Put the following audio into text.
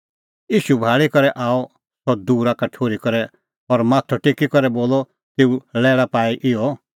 ईशू भाल़ी करै आअ सह दूरा का ठुर्ही करै और माथअ टेकी करै बोलअ तेऊ लैल़ा पाई इहअ